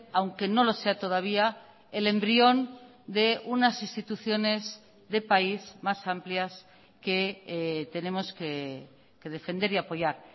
aunque no lo sea todavía el embrión de unas instituciones de país más amplias que tenemos que defender y apoyar